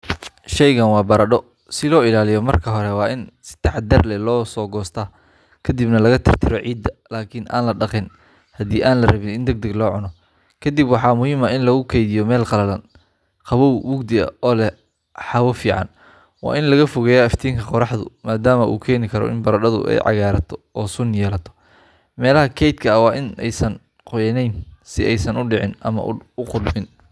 Shaygan waa baradho. Si loo ilaaliyo, marka hore waa in si taxaddar leh loo soo goostaa kadibna laga tirtiro ciidda, laakiin aan la dhaqin haddii aan la rabin in degdeg loo cuno. Kadibna waxaa muhiim ah in lagu kaydiyo meel qalalan, qabow, mugdi ah oo leh hawo fiican. Waa in laga fogeeyaa iftiinka qoraxda maadaama uu keeni karo in baradhadu ay cagaarato oo suun yeelato. Meelaha kaydka ah waa in aysan qoyanayn si aysan u dhicin ama u qudhmin.